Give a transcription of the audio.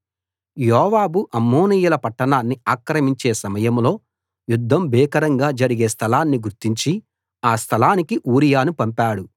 యోవాబు అమ్మోనీయుల పట్టాణాన్ని ఆక్రమించే సమయంలో యుద్ధం భీకరంగా జరిగే స్థలాన్ని గుర్తించి ఆ స్థలానికి ఊరియాను పంపాడు